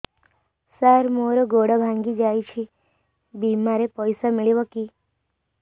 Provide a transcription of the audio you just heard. ସାର ମର ଗୋଡ ଭଙ୍ଗି ଯାଇ ଛି ବିମାରେ ପଇସା ମିଳିବ କି